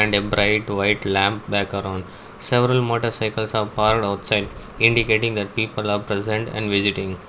A bright white lamp background several motor cycles are parked outside indicating that people are present and visiting.